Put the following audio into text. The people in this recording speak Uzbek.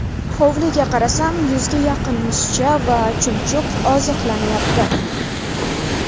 Hovliga qarasam, yuzga yaqin musicha va chumchuq oziqlanyapti.